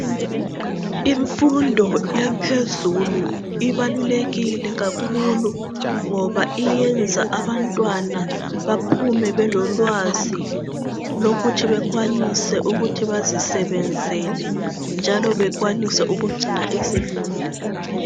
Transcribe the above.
Imfundo yaphezulu ibalulekile kakhulu ngoba iyenza abantwana baphume belolwazi lokuthi bekwanise ukuthi bazisebenzele njalo bakwanise ukugcina izimuli.